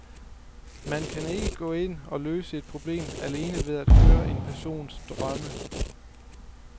Man kan ikke gå ind og løse et problem alene ved at høre om en persons drømme.